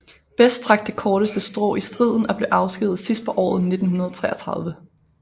Best trak det korteste strå i striden og blev afskediget sidst på året 1933